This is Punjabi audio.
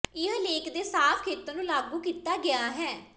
ਇਹ ਲੇਖ ਦੇ ਸਾਫ਼ ਖੇਤਰ ਨੂੰ ਲਾਗੂ ਕੀਤਾ ਗਿਆ ਹੈ